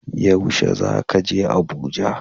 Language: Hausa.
Yaushe ne zaka je Abuja?